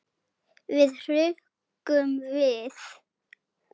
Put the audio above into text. Við hrukkum við.